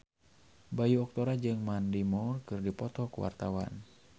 Bayu Octara jeung Mandy Moore keur dipoto ku wartawan